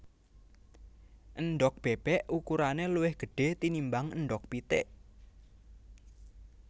Endhog bébék ukurané luwih gedhé tinimbang endhog pitik